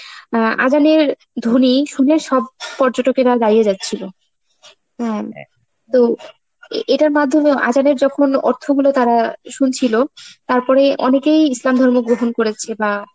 অ্যাঁ আযানের ধ্বনি শুনে সব পর্যটকেরা দাঁড়িয়ে যাচ্ছিল, হ্যাঁ তো এ~ এটার মাধ্যমে আযানের যখন অর্থ গুলো তারা শুনছিল, তারপরে অনেকেই ইসলাম ধর্ম গ্রহণ করেছে বা